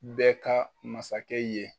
Bɛ ka masakɛ ye.